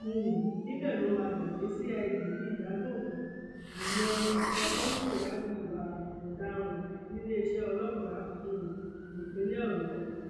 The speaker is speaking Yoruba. um níbẹ ló máa gbà dé cid ní ìyàgànkù ìyẹn ẹka tó ń ṣèwádìí ìwà ọdaràn níléeṣẹ ọlọpàá um ìpínlẹ ọyọ